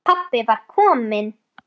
Pabbi var kominn.